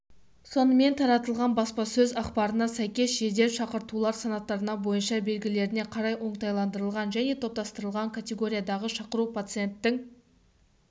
сонымен таратылған баспасөз-ақпарына сәйкес жедел шақыртулар санаттары бойынша белгілеріне қарай оңтайландырылған және топтастырылған категориядағы шақыру пациенттің